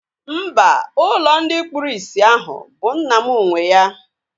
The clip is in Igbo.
Mba, ụlọ ndị kpụrụ isi ahụ bụ nna m nwee ya